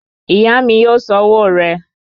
Ìyá mi yóò san owó rẹ